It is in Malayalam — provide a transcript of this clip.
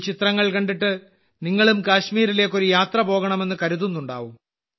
ഈ ചിത്രങ്ങൾ കണ്ടിട്ട് നിങ്ങളും കാശ്മീരിലേക്ക് ഒരു യാത്ര പോകണമെന്ന് കരുതുന്നുണ്ടാവും